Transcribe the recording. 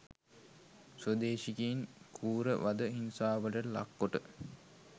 ස්වදේශිකයින් කෲර වද හිංසාවලට ලක් කොට